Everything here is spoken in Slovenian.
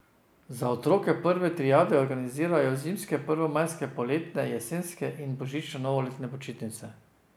Za otroke prve triade organizirajo zimske, prvomajske, poletne, jesenske in božično novoletne počitnice.